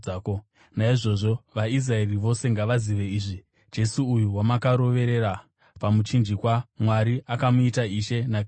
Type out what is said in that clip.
“Naizvozvo vaIsraeri vose ngavazive izvi: Jesu uyu, wamakaroverera pamuchinjikwa, Mwari akamuita Ishe naKristu.”